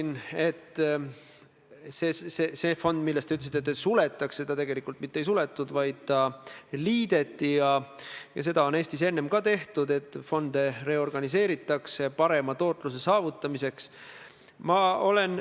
Nii et mina olen käitunud selliselt, aga ma ütlen, et ma mäletan, kuidas Tallinna Linnavalitsuses – kui ma ei eksi, Vabaduse väljak 7 – on esitatud tõesti kõigi linnapeade pildid hoolimata sellest, mis ajastul nad on Eestis ametis olnud.